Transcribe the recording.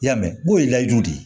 I y'a mɛn goyi layidu di